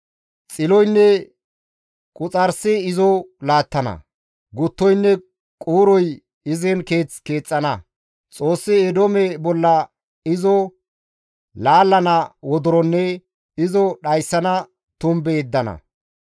Xiloynne quxarsi izo laattana; guttoynne quuroy izin keeth keexxana; Xoossi Eedoome bolla izo laallana wodoronne izo dhayssana tumbe yeddana.